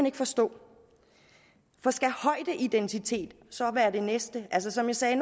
ikke forstå for skal højdeidentitet så være det næste som jeg sagde